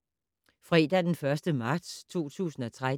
Fredag d. 1. marts 2013